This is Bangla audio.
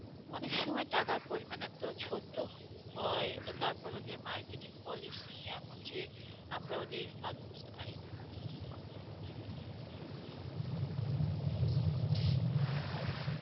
এক সময় টাকার পরিমাণ এত ছোট হয় তার পর ওদের marketing policy এমন যে আমরা ওদের ফাঁদ বুজতে পারি না